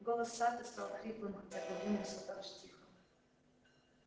голос сатта стал хриплым хотя говорил он все так же тихо